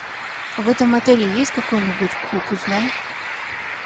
в этом отеле есть какой нибудь клуб узнай